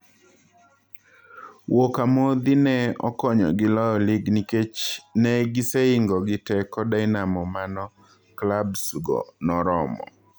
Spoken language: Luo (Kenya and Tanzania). Wiuok amodhi ne okonyogi loyo lig nikech ne gisehingogi teko Dinamo mano klabs go noromo.